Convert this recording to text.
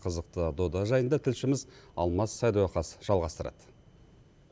қызықты дода жайында тілшіміз алмас садуақас жалғастырады